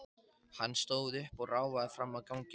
Hann stóð upp og ráfaði fram á ganginn.